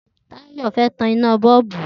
Tayo fẹ́ tàn iná bọlúbú